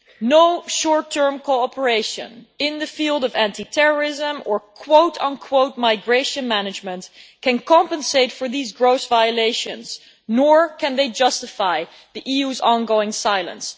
No short term cooperation in the field of anti terrorism or migration management' can compensate for these gross violations, nor can they justify the EU's ongoing silence.